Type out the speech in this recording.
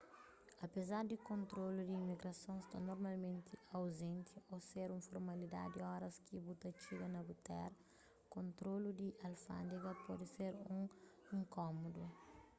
apezar di kontrolu di imigrason sta normalmenti auzenti ô ser un formalidadi óras ki bu ta txiga na bu téra kontrolu di alfándega pode ser un inkómodu